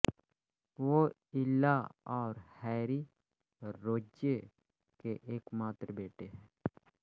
वो इला और Harry Royce के एकमात्र बेटे है